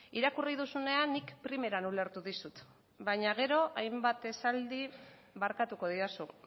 irakurri duzunean nik primeran ulertu dizut baina gero hainbat esaldi barkatuko didazu